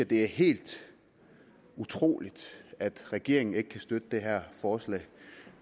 det er helt utroligt at regeringen ikke kan støtte det her forslag